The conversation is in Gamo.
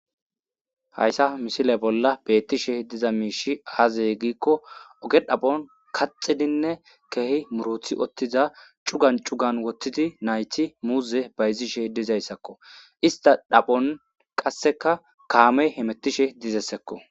hayssa misile bolla beettishe diza miishi aazey giikko oge dhaphon kaxidinne keehi murothi ottiza cugan cugan wottidi nayti muuze bayzishe dizayssakko ista dhaphon qasseka kaamey hemettishe dizessekko